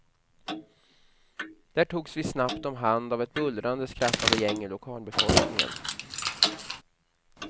Där togs vi snabbt om hand av ett bullrande, skrattande gäng ur lokalbefolkningen.